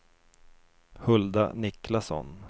Hulda Niklasson